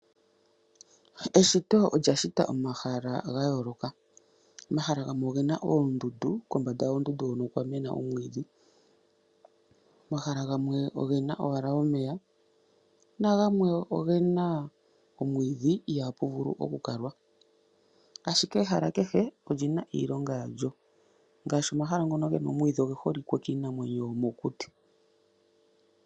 Eshito olyashita omahala gayoloka, omahala gamwe ogena oondunda no kombanda yoondundu okwamena omwiidhi. Omahala gamwe ogena owala omeya, nagamwe ogena omwiidhi ihapuvulu okukalwa, ashike ehala kehe olyina iilonga yalyo ngaashi omahala ngono gena omwiidhi oge holike kiinamwenyo yomokuti.